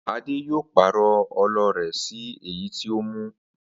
Adé yóò pàrò̩ o̩lo̩ rè̩ sí èyí tí ó mú